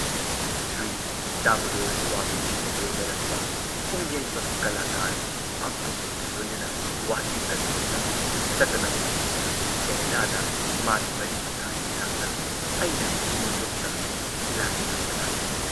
ꯁ꯭ꯔꯤ ꯗꯥꯃꯨꯗꯣꯔ ꯁ꯭ꯋꯥꯃꯤꯖꯤꯅ ꯂꯣꯏꯅꯔꯛꯄ ꯄꯨꯡꯌꯩꯕ ꯀꯂꯥꯀꯥꯔ, ꯚꯛꯇꯁꯤꯡꯒ ꯂꯣꯏꯅꯅ ꯋꯥꯁꯤꯡꯇꯟ ꯂꯣꯝꯗ, ꯁꯇꯅꯝ ꯁꯤꯡꯍꯅ ꯀꯦꯅꯗꯥꯗ ꯃꯥꯒꯤ ꯃꯔꯤꯃꯇꯥꯒꯤ ꯅꯥꯛꯇ, ꯑꯩꯅ ꯅ꯭ꯌꯨ ꯌꯣꯔꯛꯇ ꯁꯤꯂꯥꯒꯤ ꯅꯥꯛꯇ ꯂꯥꯛꯂꯦ ꯫